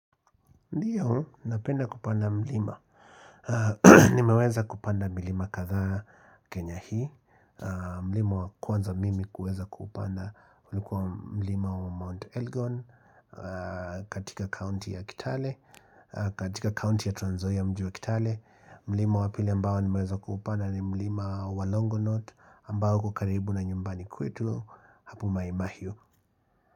Ndio, napenda kupanda mlima Nimeweza kupanda milima kadha kenya hii mlima wa kwanza mimi kuweza kupanda ulikuwa mlima wa Mount Elgon katika county ya kitale katika county ya tranzoia mji wa kitale mlima wa pili ambao nimeweza kupanda ni mlima wa LongoNot ambao uko karibu na nyumbani kwetu Hapi maimahiu.